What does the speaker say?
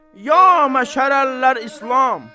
Ya məşərəl İslam!